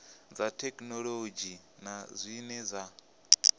dza thekhinolodzhi na zwine dza